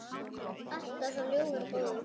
Alltaf svo ljúfur og góður.